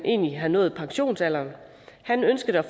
havde nået pensionsalderen han ønskede